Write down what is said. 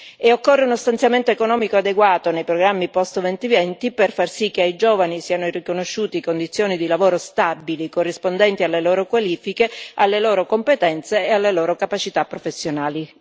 E occorre uno stanziamento economico adeguato nei programmi post 2020 per far sì che ai giovani siano riconosciute condizioni di lavoro stabili, corrispondenti alle loro qualifiche, alle loro competenze e alle loro capacità professionali.